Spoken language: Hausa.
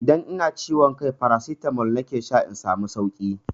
Idan ina ciwon kai farasitamol nake sha na samu sauki.